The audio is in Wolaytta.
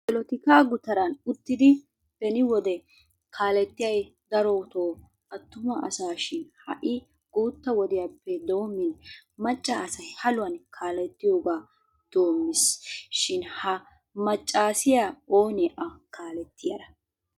Polotikaa gutaran uttidi beni wode kaalettiyay darotoo attuma asaashin ha"i guutta wodiyappe doommin macca asay haluwan kaalettiyogaa doommiis. Shin ha maccaasiya oonee A kaalettiyara?